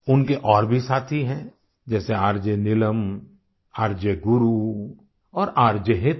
उनके और भी साथी हैं जैसे आरजे नीलम आरजे गुरु और आरजे हेतल